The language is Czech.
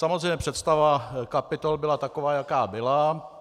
Samozřejmě, představa kapitol byla taková, jaká byla.